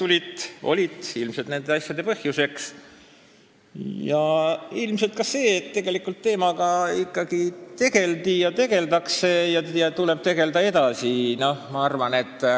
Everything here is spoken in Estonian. Ilmselt need olid nende asjade põhjuseks ja küllap ka see, et selle teemaga ikkagi tegeldi ja tegeldakse ning sellega tuleb edasi tegelda.